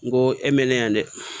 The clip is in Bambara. N go e mɛna yan dɛ